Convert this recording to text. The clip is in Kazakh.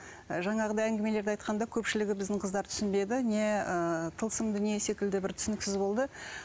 жаңағыдай әңгімелерді айтқанда көпшілігі біздің қыздар түсінбеді не ыыы тылсым дүние секілді бір түсініксіз болды